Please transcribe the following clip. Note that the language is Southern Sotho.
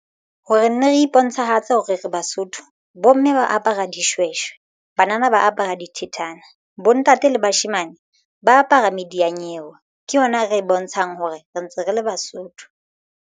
Ho re nne re bontshahatse hore re Basotho bomme ba apara dishweshwe banana ba apara dithethana. Bontate le bashemane ba apara mediyanyewe ke yona ra e bontshang hore re ntse re le Basotho.